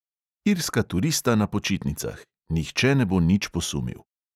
Irska turista na počitnicah, nihče ne bo nič posumil.